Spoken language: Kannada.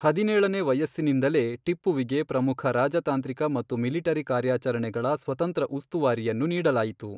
ಹದಿನೇಳನೇ ವಯಸ್ಸಿನಿಂದಲೇ ಟಿಪ್ಪುವಿಗೆ ಪ್ರಮುಖ ರಾಜತಾಂತ್ರಿಕ ಮತ್ತು ಮಿಲಿಟರಿ ಕಾರ್ಯಾಚರಣೆಗಳ ಸ್ವತಂತ್ರ ಉಸ್ತುವಾರಿಯನ್ನು ನೀಡಲಾಯಿತು.